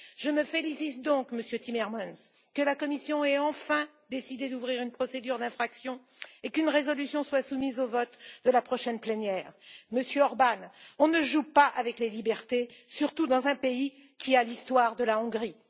Je me félicite donc, Monsieur Timmermans, que la Commission ait enfin décidé d'ouvrir une procédure d'infraction et qu'une résolution soit soumise au vote de la prochaine plénière. Monsieur Orbán, on ne joue pas avec les libertés, surtout dans un pays dont l'histoire est celle de la Hongrie.